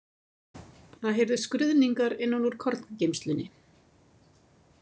Það heyrðust skruðningar innan úr korngeymslunni.